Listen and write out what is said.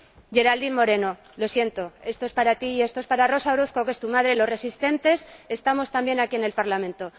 Geraldine Moreno, lo siento, esto es para ti y esto es para Rosa Orozco, que es tu madre Los resistentes estamos también aquí en el Parlamento.